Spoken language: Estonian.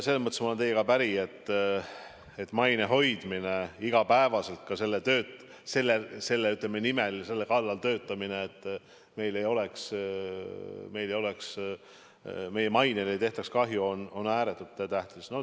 Selles mõttes olen ma teiega päri, et maine hoidmine iga päev, selle nimel ja selle kallal töötamine, et meie mainele ei tehtaks kahju, on ääretult tähtis.